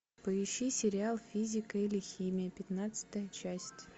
поищи сериал физика или химия пятнадцатая часть